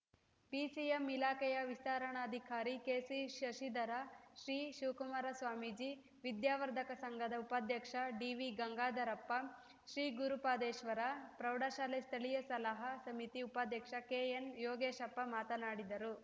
BCM ಇಲಾಖೆಯ ವಿಸ್ತರಣಾಧಿಕಾರಿ KC Shashidhara Shri Shivakumara Swamiji ವಿದ್ಯಾವರ್ಧಕ ಸಂಘದ ಉಪಾಧ್ಯಕ್ಷ ಡಿವಿ ಗಂಗಾಧರಪ್ಪ ಶ್ರೀ ಗುರುಪಾದೇಶ್ವರ ಪ್ರೌಢಶಾಲೆ ಸ್ಥಳೀಯ ಸಲಹಾ ಸಮಿತಿ ಉಪಾಧ್ಯಕ್ಷ ಕೆ ಎನ್‌ ಯೋಗೇಶಪ್ಪ ಮಾತನಾಡಿದರು